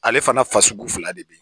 Ale fana fasugu fila de bɛ yen